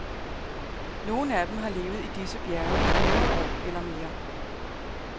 Nogle af dem har levet i disse bjerge i hundrede år eller mere.